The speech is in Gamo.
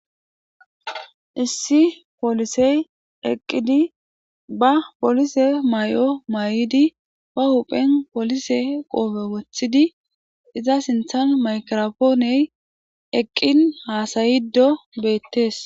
issi poolisey eqqidi ba polise may7o may7di pa huphen polise qoobe woththidi iza sinthan makropooney eqqin haasayido bettees